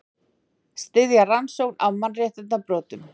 Styðja rannsókn á mannréttindabrotum